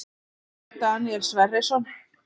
Björn Daníel Sverrisson